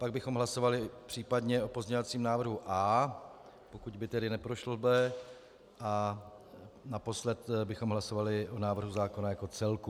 Pak bychom hlasovali případně o pozměňovacím návrhu A, pokud by tedy neprošlo B, a naposled bychom hlasovali o návrhu zákona jako celku.